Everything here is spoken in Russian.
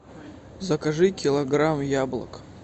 закажи килограмм яблок